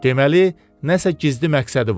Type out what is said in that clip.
Deməli, nəsə gizli məqsədi var.